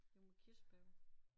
Det med kirsebær på